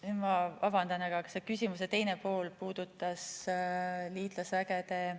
Nüüd ma vabandan, aga ma ei mäleta, kas see küsimuse teine pool puudutas liitlasvägesid või ...